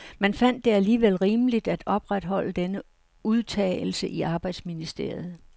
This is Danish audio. Man fandt det alligevel rimeligt at opretholde denne udtagelse i arbejdsministeriet.